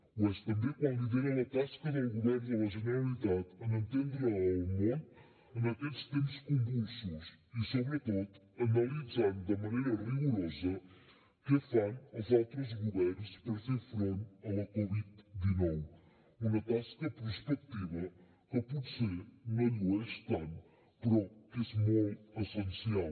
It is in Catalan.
ho és també quan lidera la tasca del govern de la generalitat en entendre el món en aquests temps convulsos i sobretot analitzant de manera rigorosa què fan els altres governs per fer front a la covid dinou una tasca prospectiva que potser no llueix tant però que és molt essencial